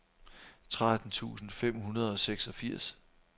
tretten tusind fem hundrede og seksogfirs